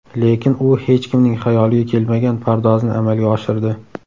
Lekin u hech kimning xayoliga kelmagan pardozni amalga oshirdi.